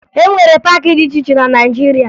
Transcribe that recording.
E nwere paakị dị iche iche na Naịjirịa